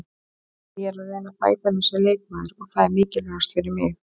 Ég er að reyna að bæta mig sem leikmaður og það er mikilvægast fyrir mig.